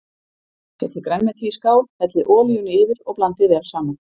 Setjið grænmetið í skál, hellið olíunni yfir og blandið vel saman.